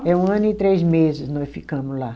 É um ano e três meses nós ficamos lá.